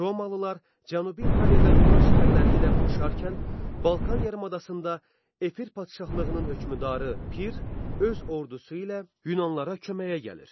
Romalılar Cənubi İtaliyada Yunan şəhərləri ilə vuruşarkən Balkan yarımadasında Epir padşahlığının hökmdarı Pir öz ordusu ilə Yunanlılara köməyə gəlir.